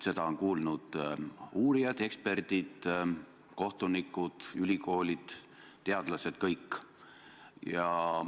Seda on kuulnud uurijad, eksperdid, kohtunikud, ülikoolid, teadlased – kõik.